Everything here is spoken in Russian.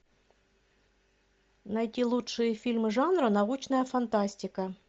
найти лучшие фильмы жанра научная фантастика